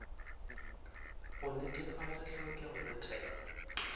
go netefatša tlhokego ya thekgo